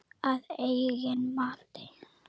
Að eigin mati.